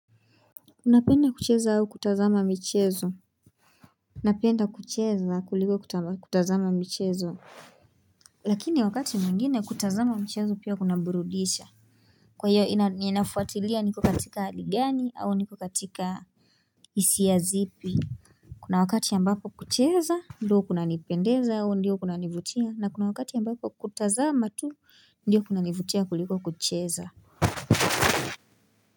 Unapenda kucheza au kutazama michezo? Napenda kucheza kuliko kutazama michezo Lakini wakati mwngine kutazama michezo pia kuna burudisha Kwa hiyo ninafuatilia niko katika ali gani au niko katika hisia zipi Kuna wakati ambapo kucheza ndio kunanipendeza au ndiyo kunanivutia na kuna wakati ambapo kutazama tu ndiyo kuna nivutia kuliko kucheza.